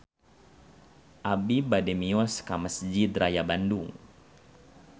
Abi bade mios ka Mesjid Raya Bandung